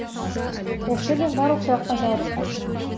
осы жерден барлық сұраққа жауап шығады